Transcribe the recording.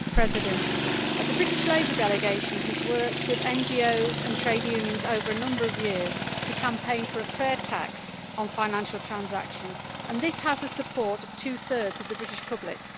Mr President, the British Labour delegation has worked with NGOs and trade unions over a number of years to campaign for a fair tax on financial transactions. This has the support of two thirds of the British public.